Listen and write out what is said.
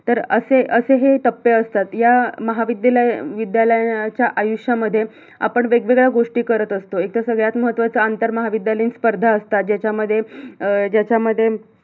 असे असे हे टप्पे असतात, या महाविद्यालाय~विद्यालायानाच्या आयुष्यामध्ये आपण वेगवेगळ्या गोष्टी करत असतो. एकतर सगळ्यात महत्त्वाच आंतरमहाविद्यालयीन स्पर्धा असता ज्याच्यामध्ये अं ज्याच्यामध्ये